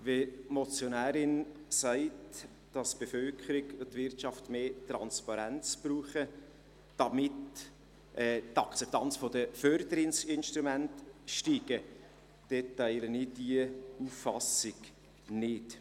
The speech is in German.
Wenn die Motionärin sagt, dass die Bevölkerung und die Wirtschaft mehr Transparenz brauchen, damit die Akzeptanz der Förderinstrumente steigt, dann teile ich diese Auffassung nicht.